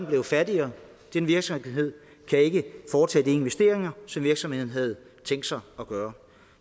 blevet fattigere den virksomhed kan ikke foretage de investeringer som virksomheden havde tænkt sig at gøre